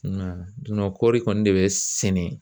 kɔɔri kɔni de bɛ sɛnɛ.